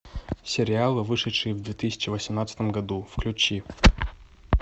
сериалы вышедшие в две тысячи восемнадцатом году включи